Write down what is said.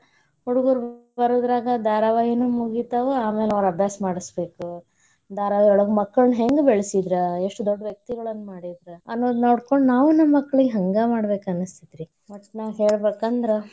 ಹುಡ್ಗುರು ಬರೋದ್ರಾಗ ಧಾರಾವಾಹಿನೂ ಮುಗಿತಾವ್, ಆಮ್ಯಾಲ್ ಅವ್ರ ಅಭ್ಯಾಸ ಮಾಡ್ಸಬೇಕ, ಧಾರಾವಾಹಿಯೊಳಗ ಮಕ್ಕಳ್ನ ಹೆಂಗ್ ಬೆಳೆಸಿದ್ರ, ಎಷ್ಟ ದೊಡ್ ವ್ಯಕ್ತಿಗಳನ್ ಮಾಡಿದ್ರ ಅನ್ನೋದ್ ನೋಡ್ಕೊಂಡ್ ನಾವೂ ನಮ್ ಮಕ್ಳಿಗೆ ಹಂಗ ಮಾಡ್ಬೇಕ್ ಅನಸ್ತೇತಿ. ಒಟ್ನಾಗ್ ಹೇಳ್ಬೇಕಂದ್ರ.